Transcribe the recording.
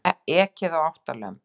Ekið á átta lömb